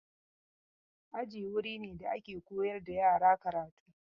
Aji wuri ne da ake koyar da yara karatu.